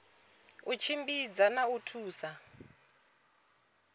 u tshimbidza na u thusa